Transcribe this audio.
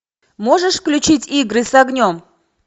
можешь включить игры с огнем